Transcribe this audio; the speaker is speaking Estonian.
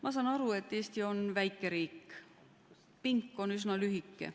Ma saan aru, et Eesti on väike riik, pink on üsna lühike.